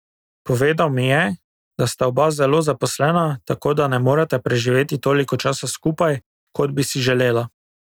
Povedal mi je, da sta oba zelo zaposlena, tako da ne moreta preživeti toliko časa skupaj, kot bi si želela.